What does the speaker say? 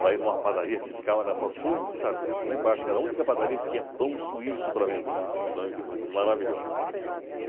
para ir em uma padaria que ficava na rua Conde de Sarseto, lá embaixo, que era a única padaria que tinha pão suíço para vender, pães e pães maravilhosos.